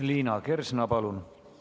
Liina Kersna, palun!